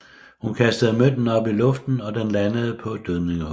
Hun kastede mønten op i luften og den landede på dødningehovedet